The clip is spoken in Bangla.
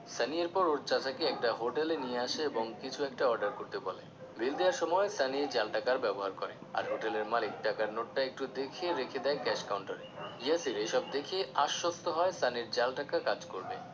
সানি এর পর ওর চাচাকে একটা হোটেলে নিয়ে আসে এবং কিছু একটা order করতে বলে বিল দেওয়ার সময় সানি জাল টাকার ব্যবহার করে আর হোটেলের মালিক টাকার নোটটা একটু দেখে রেখে দেয় cash counter এ ইয়াসির এসব দেখে আশ্বস্ত হয় সানির জাল টাকা কাজ করবে